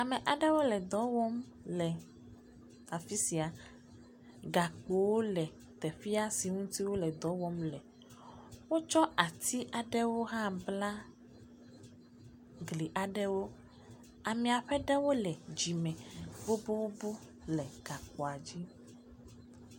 Ame aɖewo le dɔ wɔm le afi sia. Gakpowo le teƒea si ŋuti woledɔ wɔm le. Wotsɔ ati aɖewo hã bla gli aɖewo. Ame aɖewo le dzime boboobo le gakpoa dzi.